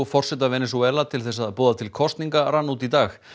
forseta Venesúela til þess að boða til kosninga rann út í dag